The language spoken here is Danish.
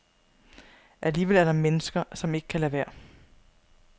Alligevel er der mennesker, som ikke kan lade være.